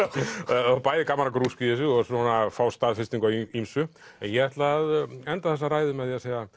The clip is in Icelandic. já bæði gaman að grúska í þessu og fá staðfestingu á ýmsu ég ætla að enda þessa ræðu með